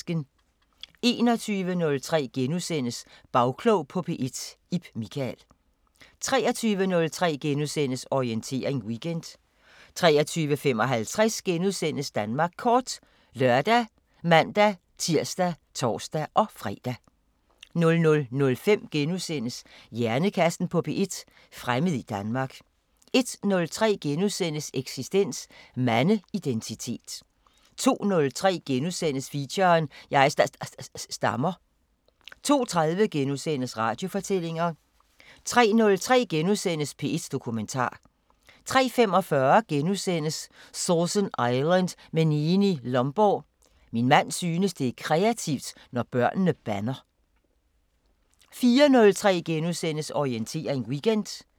21:03: Bagklog på P1: Ib Michael * 23:03: Orientering Weekend * 23:55: Danmark Kort *( lør, man-tir, tor-fre) 00:05: Hjernekassen på P1: Fremmed i Danmark * 01:03: Eksistens: Mandeidentitet * 02:03: Feature: Jeg sta-sta-stammer * 02:30: Radiofortællinger * 03:03: P1 Dokumentar * 03:45: Sausan Island med Neeni Lomborg: "Min mand synes det er kreativt, når børnene bander" * 04:03: Orientering Weekend *